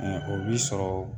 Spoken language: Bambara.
ŋa o bi sɔrɔ